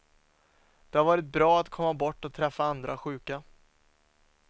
Det har varit bra att komma bort och träffa andra sjuka.